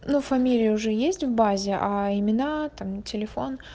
но фамилии уже есть в базе а имена там телефон